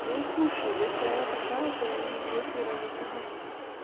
ну слушай если она такая то и не грех ей разок ебануть